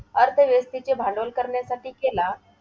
अर्थव्यवस्थेचे भांडवल करण्यासाठी केला.